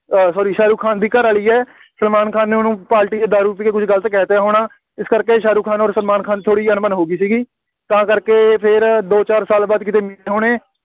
ਅਹ sorry Shahrukh Khan ਦੀ ਘਰਵਾਲੀ ਹੈ, ਸਲਮਾਨ ਖਾਨ ਨੇ ਉਹਨੂੰ ਪਾਰਟੀ 'ਚ ਦਾਰੂ ਪੀ ਕੇ ਕੁੱਝ ਗਲਤ ਕਹਿ ਦਿੱਤਾ ਹੋਣਾ, ਇਸ ਕਰਕੇ ਸ਼ਾਹਰੁਖ ਖਾਨ ਔਰ ਸਲਮਾਨ ਖਾਨ ਦੀ ਥੋੜ੍ਹੀ ਅਣਬਣ ਹੋ ਗਈ ਸੀਗੀ, ਤਾਂ ਕਰਕੇ ਫੇਰ ਦੋ ਚਾਰ ਸਾਲ ਬਾਅਦ ਕਿਤੇ ਮਿਲੇ ਹੋਣੇ,